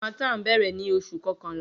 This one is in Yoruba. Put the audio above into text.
Harmattan bẹrẹ ni Oṣu kọkanla